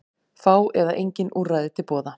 Fá eða engin úrræði til boða